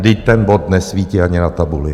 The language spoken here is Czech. Vždyť ten bod nesvítí ani na tabuli.